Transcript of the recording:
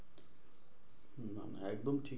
একদম ঠিক।